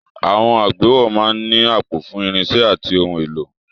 Àwọn àgbéwọ̀ máa ń ní àpò fún irinṣẹ́ àti ohun èlò.